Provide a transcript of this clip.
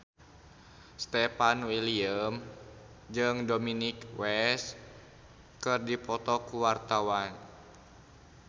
Stefan William jeung Dominic West keur dipoto ku wartawan